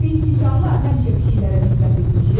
Biz siçanlar həmişə pişiklərə nifrət etmişik.